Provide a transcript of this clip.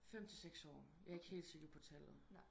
5 til 6 år jeg er ikke helt sikker på tallet